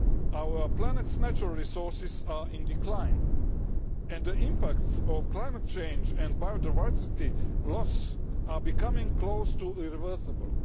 Our planet's natural resources are in decline and the impacts of climate change and biodiversity loss are becoming close to irreversible.